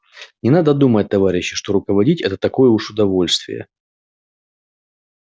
не надо думать товарищи что руководить это такое уж удовольствие